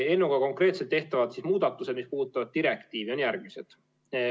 Eelnõuga konkreetselt tehtavad muudatused, mis puudutavad direktiivi, on järgmised.